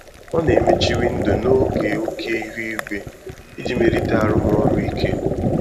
Ọ na-emechi windo n'oge oke ihu igwe iji melite arụmọrụ ike.